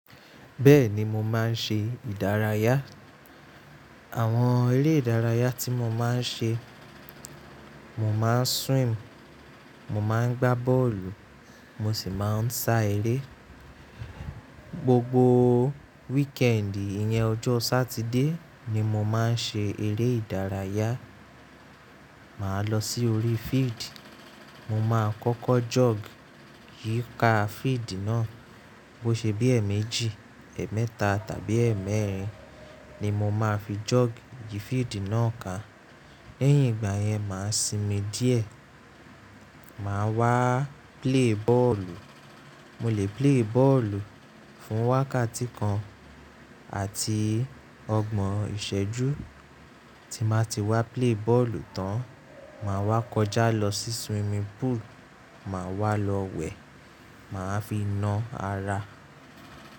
Bẹ́ẹ̀ni, mo máa ń ṣe ìdárayá. Àwọn eré ìdárayá tí mo máa ń ṣe, mo máa ń swim, mo máa ń gbá bọ́ọ̀lù, mo sì máa ń sá eré. Gbogbo wíkẹ́ẹ̀dì iyẹn ọjọ́ Sátidé ni mo máa ń ṣe eré ìdárayá. Máa lọ sí orí field, mo máa kọ́kọ́ jog yíká field náà. Bó ṣe bí ẹ̀ méjì, ẹ̀ mẹ́ta tàbí ẹ̀ mẹ́rin ni mo máa fi jogìi yi field náà kan. Lẹ́yìn ìgbà yẹn, màá sinmi díẹ̀. Màá wá play bọ́ọ̀lù. Mo lè play bọ́ọ̀lù fún wákàtí kan àti ọgbọ̀n ìṣẹ́jú. Tí màá ti wá play bọ́ọ̀lù tán, màá wá kọjá lọ sí swimming pool, màá wá lọ wẹ̀, màá fi ná ara.